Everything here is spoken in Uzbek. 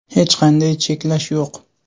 Hech qanday cheklash yo‘q.